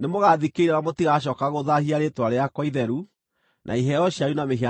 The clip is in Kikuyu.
nĩmũgathikĩrĩria na mũtigacooka gũthaahia rĩĩtwa rĩakwa itheru na iheo cianyu na mĩhianano yanyu.